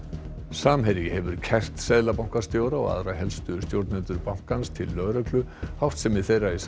samherji hefur kært seðlabankastjóra og aðra helstu stjórnendur bankans til lögreglu háttsemi þeirra í